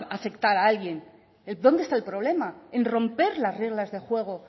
va a afectar a alguien dónde está el problema en romper las reglas de juego